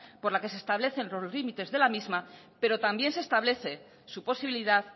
por la que se establece los límites de la misma pero también se establece su posibilidad